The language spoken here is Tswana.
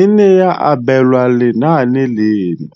e ne ya abelwa lenaane leno.